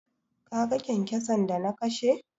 Kaga kyankyason da na kashe?